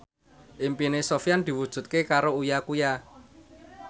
impine Sofyan diwujudke karo Uya Kuya